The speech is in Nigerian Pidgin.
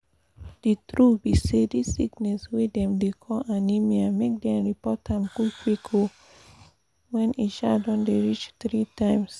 the true be say this sickness wey dem dey call anemia make dem report am qik qik um when e um don dey dey reach three times